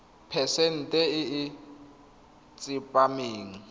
phesente e e tsepameng